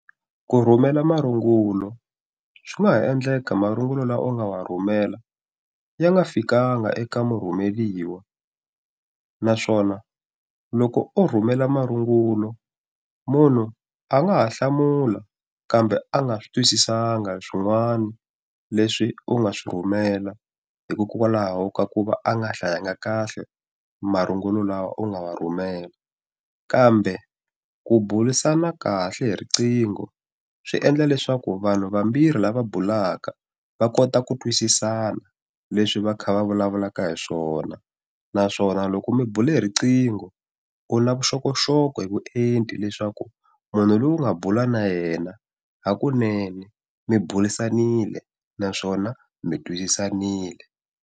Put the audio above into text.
Ku rhumela marungulo swi nga ha endleka marungulo laha u nga wa rhumela ya nga fikaka eka murhumeriwa naswona loko o rhumela marungulo munhu a nga ha hlamula kambe a nga swi twisisanga swin'wana leswi u nga swi rhumela hikokwalaho ka ku va a nga hlayanga kahle marungulo lawa u nga wa rhumela kambe ku burisana kahle hi riqingho swi endla leswaku vanhu vambirhi lava bulaka va kota ku twisisana leswi va kha va vulavulaka hi swona naswona loko mi bule he riqingho u na vuxokoxoko hi vuenti leswaku munhu loyi u nga bula na yena hakunene mi burisanile naswona mi twisisanile.